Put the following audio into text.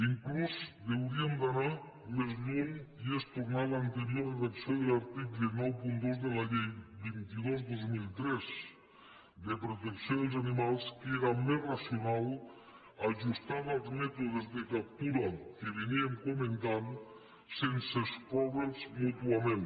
fins i tot hauríem d’anar més lluny que és tornar a l’anterior redacció de l’article noranta dos de la llei vint dos dos mil tres de protecció dels animals que era més racional ajustada als mètodes de captura que comentàvem sense excloure’ls mútuament